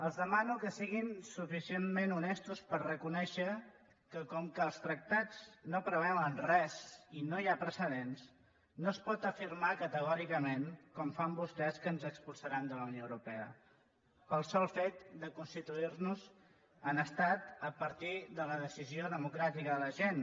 els demano que siguin suficientment honestos per reconèixer que com que els tractats no preveuen res i no hi ha precedents no es pot afirmar categòricament com ho fan vostès que ens expulsaran de la unió europea pel sol fet de constituir nos en estat a partir de la decisió democràtica de la gent